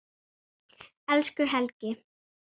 Elsku Helgi.